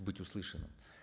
быть услышанным